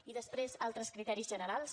i després altres criteris generals